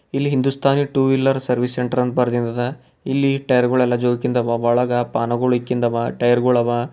ಇಲ್ಲಿ Hindustani two wheeler service centre ಅಂತ ಬರ್ದಿನ್ದದದ ಇಲ್ಲಿ ಟೈಯರ್ಗಳೆಲ್ಲ ಜೋಕಿಂದವ ಒಳಗ ಪಾನುಗುಳ್ ಇಕ್ಕಿಂದವ ಟೈರ್ಗುಳವ.